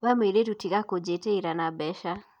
We mũirĩtu tiga kũjĩtĩĩra na mbeca